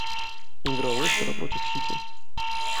игра лестера против сити